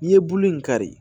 N'i ye bulu in kari